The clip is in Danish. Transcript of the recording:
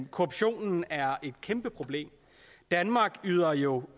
korruption er et kæmpe problem danmark yder jo